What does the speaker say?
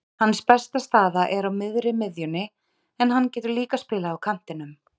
Hans besta staða er á miðri miðjunni en hann getur líka spilað á kantinum.